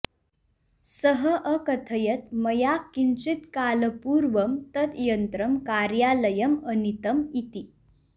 सः अकथयत् मया किञ्चित् कालपूर्वं तत् यन्त्रं कार्यालयं अनीतम् इति